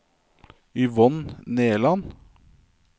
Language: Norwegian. Yvonne Nerland